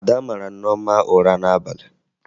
Ada mara Nneọma ụra n'abalị